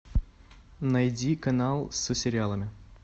найди канал с сериалами